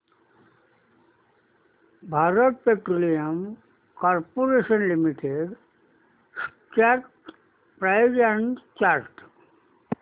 Bharat petroleum corporation limited stock price and chart